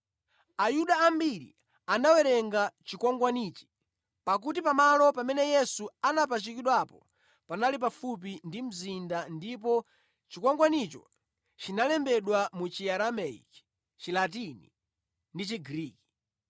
Ayuda ambiri anawerenga chikwangwanichi, pakuti pamalo pamene Yesu anapachikidwapo panali pafupi ndi mzinda ndipo chikwangwanicho chinalembedwa mu Chiaramaiki, Chilatini ndi Chigriki.